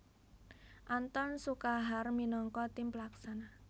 Anthon Sukahar minangka tim pelaksana